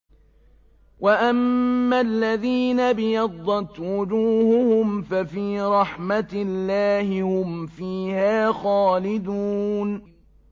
وَأَمَّا الَّذِينَ ابْيَضَّتْ وُجُوهُهُمْ فَفِي رَحْمَةِ اللَّهِ هُمْ فِيهَا خَالِدُونَ